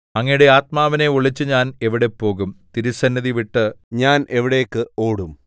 അങ്ങയുടെ ആത്മാവിനെ ഒളിച്ച് ഞാൻ എവിടെ പോകും തിരുസന്നിധിവിട്ട് ഞാൻ എവിടേക്ക് ഓടും